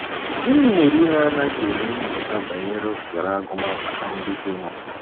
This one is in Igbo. Gịnị mere unu anaghị eme nnyocha banyere ohere agụmakwụkwọ ndị dịnụ?